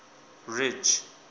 ridge